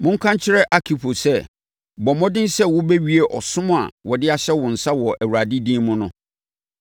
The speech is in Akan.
Monka nkyerɛ Arkipo sɛ, “Bɔ mmɔden sɛ wobɛwie ɔsom a wɔde ahyɛ wo nsa wɔ Awurade din mu no.”